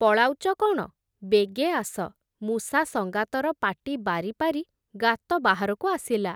ପଳାଉଚ କ’ଣ, ବେଗେ ଆସ, ମୂଷା ସଂଗାତର ପାଟି ବାରିପାରି, ଗାତ ବାହାରକୁ ଆସିଲା ।